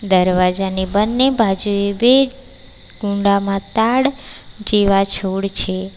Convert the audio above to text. દરવાજાની બંને બાજુએ બે કુંડામાં તાડ જેવા છોડ છે.